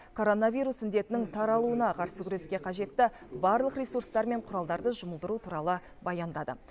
коронавирус індетінің таралуына қарсы күреске қажетті барлық ресурстар мен құралдарды жұмылдыру туралы баяндады